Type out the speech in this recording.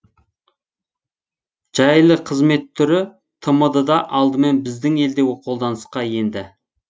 жайлы қызмет түрі тмд да алдымен біздің елде қолданысқа енді